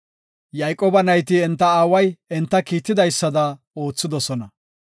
Yayqooba nayti enta aaway enta kiitidaysada oothidosona.